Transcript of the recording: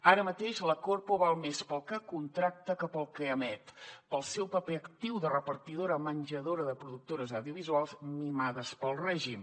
ara mateix la corpo val més pel que contracta que pel que emet pel seu paper actiu de repartidora menjadora de productores audiovisuals mimades pel règim